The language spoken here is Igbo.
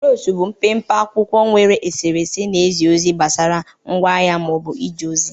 Brosho bụ mpe mpe akwụkwọ nwere eserese na ozi gbasara ngwa ahịa ma ọ bụ ije ozi